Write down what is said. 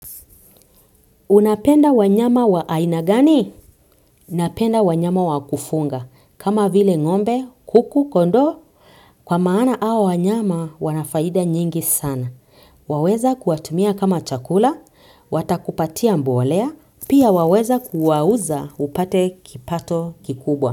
Unapenda wanyama wa aina gani? Napenda wanyama wakufunga. Kama vile ngombe, kuku, kondoo, kwa maana hao wanyama wana faida nyingi sana. Waweza kuwatumia kama chakula, watakupatia mbolea, pia waweza kuwauza upate kipato kikubwa.